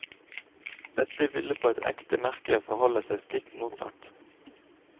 Dette ville på et ekte merke forholde seg stikk motsatt.